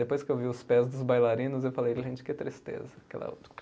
Depois que eu vi os pés dos bailarinos, eu falei, gente, que tristeza